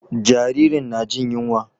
Jaririn na jin yunwa.